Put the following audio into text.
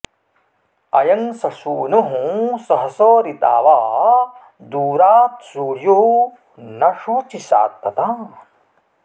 अयं स सूनुः सहस ऋतावा दूरात्सूर्यो न शोचिषा ततान